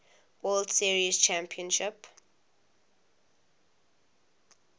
world series championship